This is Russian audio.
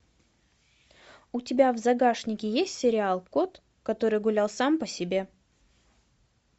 у тебя в загашнике есть сериал кот который гулял сам по себе